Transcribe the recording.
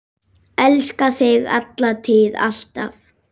Elska þig, alla tíð, alltaf.